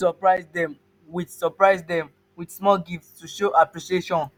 you fit surprise them with surprise them with small gift to show appreciation